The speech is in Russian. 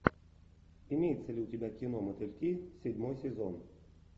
имеется ли у тебя кино мотыльки седьмой сезон